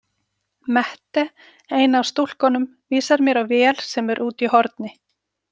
Mette, ein af stúlkunum, vísar mér á vél sem er úti í horni.